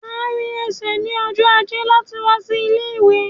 Máa rìn ẹsẹ̀ ní ọjọ ajé láti wá sí ilé-ìwé